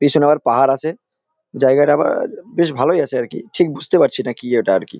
পিছনে আবার পাহাড় আছে জায়গাটা আবার বেশ ভালই আছে আরকি ঠিক বুঝতে পারছি না কি ওটা আরকি।